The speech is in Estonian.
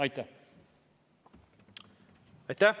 Aitäh!